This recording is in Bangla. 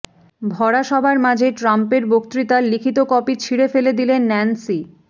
ভরাসভার মাঝে ট্রাম্পের বক্তৃতার লিখিত কপি ছিঁড়ে ফেলে দিলেন ন্যান্সি